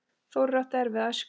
Þórir átti erfiða æsku.